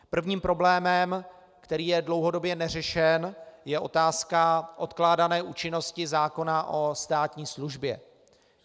Prvním problémem, který je dlouhodobě neřešen, je otázka odkládané účinnosti zákona o státní službě.